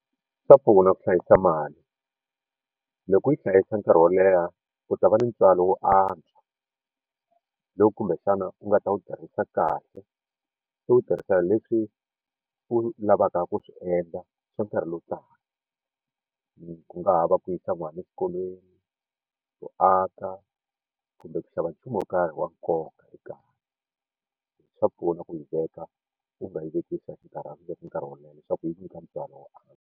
Swa pfuna ku hlayisa mali loko u yi hlayisa nkarhi wo leha u ta va ni ntswalo wo antswa lowu kumbexana u nga ta wu tirhisa kahle se u tirhisela leswi u lavaka ku swi endla swa nkarhi lowu taka ku nga ha va ku yisa n'wana exikolweni ku aka kumbe ku xava nchumu wo karhi wa nkoka ekaya swa pfuna ku yi veka u nga yi veki swa xinkarhana u yi veka nkarhi wo leha leswaku yi ku nyika ntswalo wo antswa.